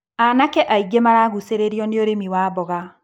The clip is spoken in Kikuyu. Anake aingĩ maragucĩrĩrio nĩũrĩmi wa mboga.